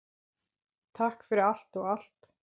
Takk fyrir allt og allt!